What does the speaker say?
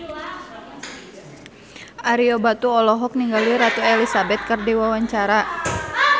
Ario Batu olohok ningali Ratu Elizabeth keur diwawancara